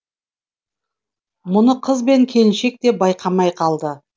мұны қыз бен келіншек те байқамай қалды